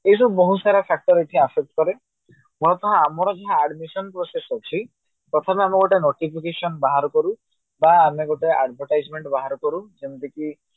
ଏମିତି ବହୁତ ସାରା କରେ ଆଉ ଆମର ଯୋଉ admission process ଅଛି ପ୍ରଥମେ ମାନେ ଗୋଟିଏ notification ବାହାର କରୁ ବା ଆମେ ଗୋଟେ advertisement ବାହାର କରୁ ଯେମିତି କି